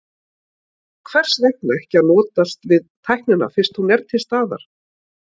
En hvers vegna ekki að notast við tæknina fyrst hún er til staðar?